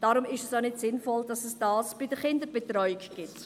Darum ist es auch nicht sinnvoll, dass es dies bei der Kinderbetreuung gibt.